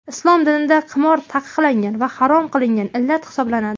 Islom dinida qimor taqiqlangan va harom qilingan illat hisoblanadi.